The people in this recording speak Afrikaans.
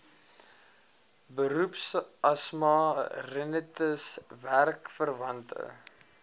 beroepsasma rinitis werkverwante